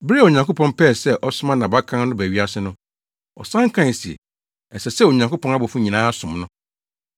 Bere a Onyankopɔn pɛɛ sɛ ɔsoma nʼabakan no ba wiase no, ɔsan kae se, “Ɛsɛ sɛ Onyankopɔn abɔfo nyinaa som no.”